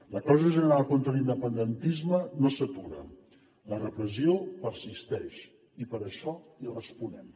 la causa general contra l’independentisme no s’atura la repressió persisteix i per això hi responem